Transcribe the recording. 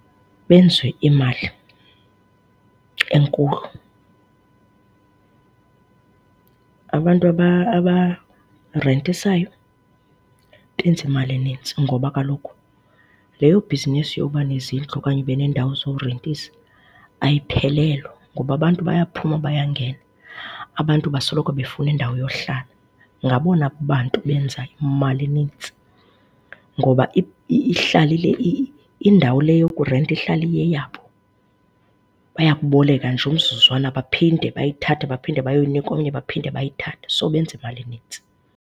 Benze imali enkulu. Abantu abarentisayo benza imali enintsi ngoba kaloku leyo bhizinisi yoba nezindlu okanye ube neendawo zorentisa ayiphelelwa. Ngoba abantu bayaphuma bayangena. Abantu basoloko befuna indawo yowuhlala. Ngabona bantu benza imali enintsi ngoba ihlala indawo le yokurenta ihlala iyeyabo. Bayakuboleka nje umzuzwana baphinde bayithathe baphinde bayoyinika omnye baphinde bayithathe. So, benza imali eninzi.